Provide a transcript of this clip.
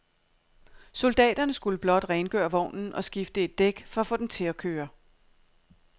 Soldaterne skulle blot rengøre vognen og skifte et dæk for at få den til at køre.